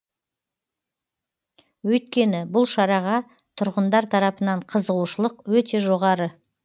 өйткені бұл шараға тұрғындар тарапынан қызығушылық өте жоғары